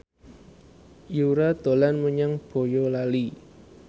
Yura dolan menyang Boyolali